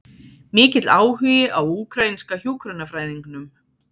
Mikill áhugi á úkraínska hjúkrunarfræðingnum